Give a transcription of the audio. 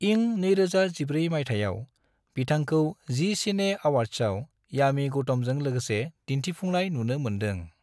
इं 2014 माइथायाव, बिथांखौ जि सिने अवार्ड्सआव यामी गौतमजों लोगोसे दिनथिफुंनाय नुनो मोन्दों।